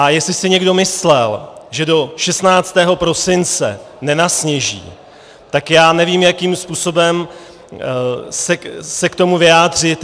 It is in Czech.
A jestli si někdo myslel, že do 16. prosince nenasněží, tak já nevím, jakým způsobem se k tomu vyjádřit.